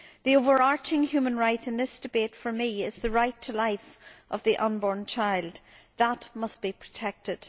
The overarching human right in this debate for me is the right to life of the unborn child that must be protected.